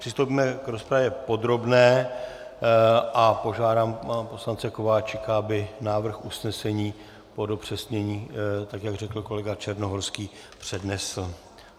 Přistoupíme k rozpravě podrobné a požádám pana poslance Kováčika, aby návrh usnesení po dopřesnění, tak jak řekl kolega Černohorský, přednesl.